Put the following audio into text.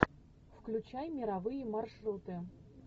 включай мировые маршруты